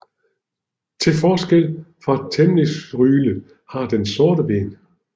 Til forskel fra temmincksryle har den sorte ben